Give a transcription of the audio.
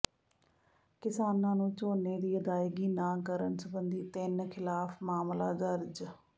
ਕਿਸਾਨਾਂ ਨੂੰ ਝੋਨੇ ਦੀ ਅਦਾਇਗੀ ਨਾ ਕਰਨ ਸਬੰਧੀ ਤਿੰਨ ਿਖ਼ਲਾਫ਼ ਮਾਮਲਾ ਦਰਜ